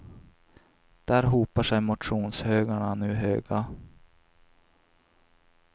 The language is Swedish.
Där hopar sig motionshögarna nu höga.